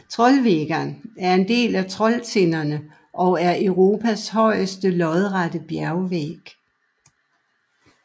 Trollveggen er en del af Trolltinderne og er Europas højeste lodrette bjergvæg